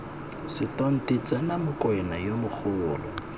setonti tsena mokwena yo mogolo